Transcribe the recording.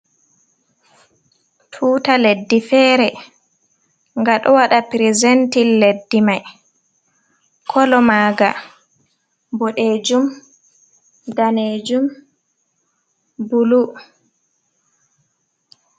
Tuta leddi fere nga ɗo waɗa prezentin leddi mai kolo maga boɗejum, danejum, bulu.